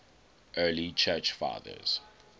early church fathers